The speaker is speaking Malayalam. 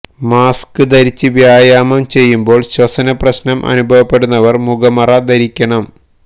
മാസ്ക് ധരിച്ച് വ്യായാമം ചെയ്യുമ്ബോള് ശ്വസന പ്രശ്നം അനുഭവപ്പെടുന്നവര് മുഖമറ ധരിക്കണം